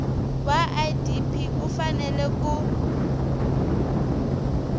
wa idp u fanele ku